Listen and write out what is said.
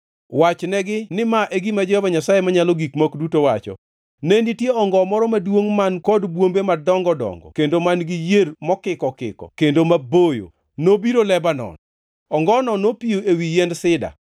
Wachnegi ni ma e gima Jehova Nyasaye Manyalo Gik Moko Duto wacho: ‘Ne nitie ongo moro maduongʼ man kod bwombe madongo dongo kendo man-gi yier mokiko okiko kendo maboyo, nobiro Lebanon. Ongono nopiyo ewi yiend sida,